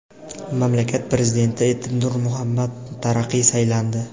Mamlakat prezidenti etib Nur Muhammad Taraqiy saylandi.